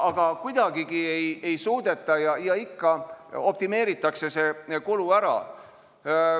Aga kuidagi ei suudeta seda teha, ikka optimeeritakse see kulu ära.